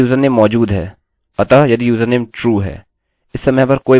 यदि यूजरनेम मौजूद है अतः यदि यूजरनेम true है